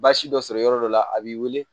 Baasi dɔ sɔrɔ yɔrɔ dɔ la a b'i wele